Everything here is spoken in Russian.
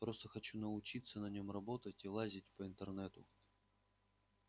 просто хочу научиться на нем работать и лазить по интернету